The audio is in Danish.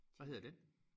Hvad hedder den?